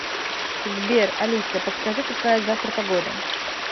сбер алиса подскажи какая завтра погода